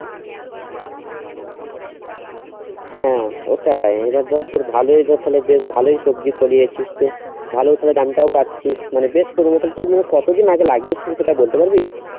হ্যাঁ ওটাই এবার ধর তোর ভালো হয়েছে তালে বেশ ভালোই সবজি ফলিয়েছিস তো ভালো তালে দাম টাও পাচ্ছিস মানে বেশ তু মানে কতদিন আগে লাগিয়েছিলিস সেটা বলতে পারবি?